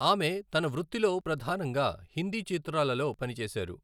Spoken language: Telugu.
ఆమె తన వృత్తిలో ప్రధానంగా హిందీ చిత్రాలలో పనిచేసారు.